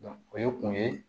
o ye kun ye